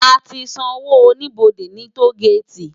Á ti n sànwó ónibódé ni tógéti